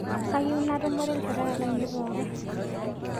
Kayieu natumore lnchoreta lainie pooki